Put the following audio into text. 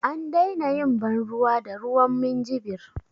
An daina yin ban ruwa da ruwan minjibir